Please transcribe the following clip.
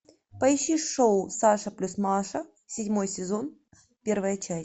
поищи шоу саша плюс маша седьмой сезон первая часть